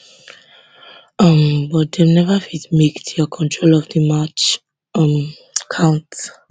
um but dem neva fit make dia control of di match um count